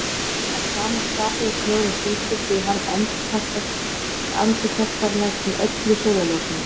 Að sama skapi er snjórinn hvítur því hann endurkastar næstum öllu sólarljósinu.